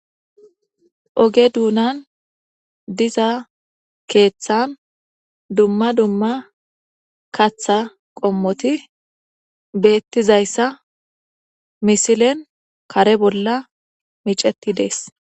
oge duunan diza keeththan dumma dumma katha qommoti beettizayssa misilen kare bolla miceti dees